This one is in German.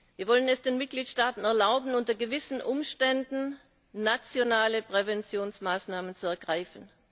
Wir wollen es den Mitgliedstaaten erlauben, unter gewissen Umständen nationale Präventionsmaßnahmen zu ergreifen.